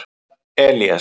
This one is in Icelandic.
Elías